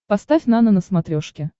поставь нано на смотрешке